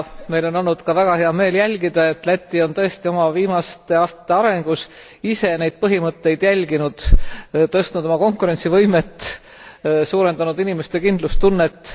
Meil on olnud ka väga hea meel jälgida, et Läti on tõesti oma viimaste aastate arengus ise neid põhimõtteid järginud tõstnud oma konkurentsivõimet, suurendanud inimeste kindlustunnet.